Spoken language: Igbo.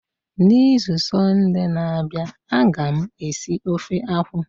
N'izu sọnde na-abịa, a ga m esi ofe akwụ.